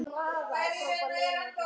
Stóð við loforð sín.